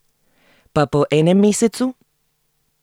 Pa po enem mesecu?